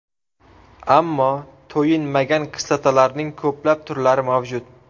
Ammo to‘yinmagan kislotalarning ko‘plab turlari mavjud.